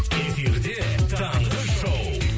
эфирде таңғы шоу